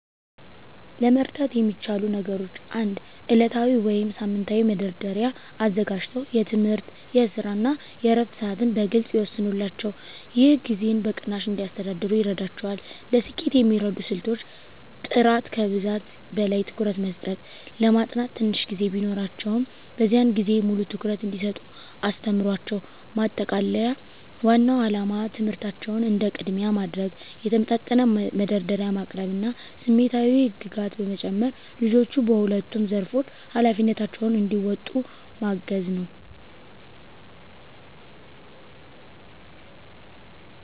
ለመርዳት የሚቻሉ ነገሮች 1. ዕለታዊ ወይም ሳምንታዊ መደርደሪያ አዘጋጅተው የትምህርት፣ የስራ እና የዕረፍት ሰዓትን በግልፅ ይወስኑላቸው። ይህ ጊዜን በቅናሽ እንዲያስተዳድሩ ይረዳቸዋል። ለስኬት የሚረዱ ስልቶች · ጥራት ከብዛት በላይ ትኩረት መስጠት ለማጥናት ትንሽ ጊዜ ቢኖራቸውም፣ በዚያን ጊዜ ሙሉ ትኩረት እንዲሰጡ አስተምሯቸው። ማጠቃለያ ዋናው ዓላማ ትምህርታቸውን እንደ ቅድሚያ ማድረግ፣ የተመጣጠነ መደርደሪያ ማቅረብ እና ስሜታዊ ህግጋት በመጨመር ልጆቹ በሁለቱም ዘርፎች ኃላፊነታቸውን እንዲወጡ ማገዝ ነው።